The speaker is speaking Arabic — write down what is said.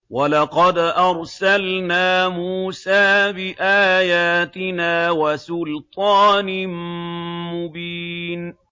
وَلَقَدْ أَرْسَلْنَا مُوسَىٰ بِآيَاتِنَا وَسُلْطَانٍ مُّبِينٍ